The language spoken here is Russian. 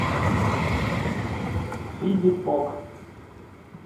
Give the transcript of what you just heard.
филиппок